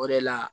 O de la